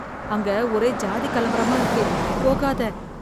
அங்க ஒரே சாதி கலவரமா இருக்கு, போகாத,.